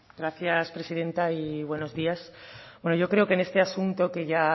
gracias presidenta y buenos días bueno yo creo que este asunto que ya